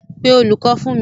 Pé olùkọ́ fún mi.